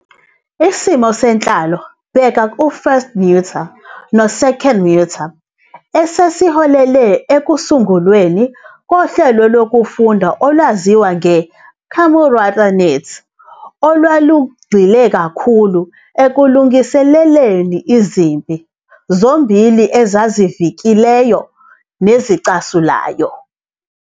Isimo senhlalo, bheka u- First Mutai no-Second Mutai, siholele ekusungulweni kohlelo lokufunda olwaziwa nge- Kamuratanet olwalugxile kakhulu ekulungiseleleni izimpi, zombili ezazivikelayo nezicasulayo.